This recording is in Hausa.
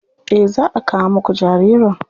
Eh za a kawo muku jaririn.